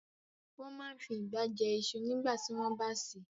Wọ́n máa n fi ìgbá jẹ iṣu nígbàtí wọ́n bá sè é